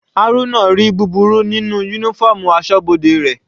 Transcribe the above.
Haruna ri búburú nínú uniform asọ́bodè rẹ̀.